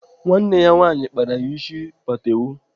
Nwanne ya nwaanyị kpara ya ịsị patewo.